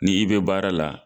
Ni i be baara la